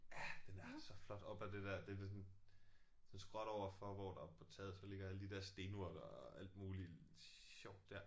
Ja den er så flot op ad det der det er ved sådan så skråt overfor hvor der oppe på taget så ligger alle de der stenurter og alt muligt sjovt der